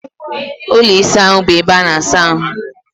Ụlọ ịsa ahụ bụ ebe ana-asa ahụ.